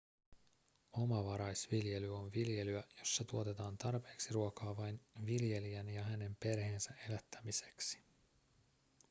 omavaraisviljely on viljelyä jossa tuotetaan tarpeeksi ruokaa vain viljelijän ja hänen perheensä elättämiseksi